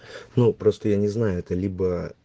ну просто я не знаю это либо